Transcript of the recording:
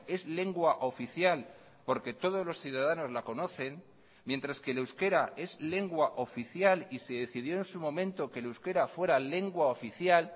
es lengua oficial porque todos los ciudadanos la conocen mientras que el euskera es lengua oficial y se decidió en su momento que el euskera fuera lengua oficial